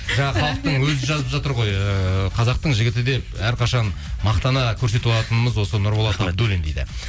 жаңа халықтың өзі жазып жатыр ғой ыыы қазақтың жігіті деп әрқашан мақтана көрсете алатынымыз осы нұрболат абдуллин дейді